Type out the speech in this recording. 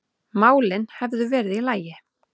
málin hefðu verið í lagi.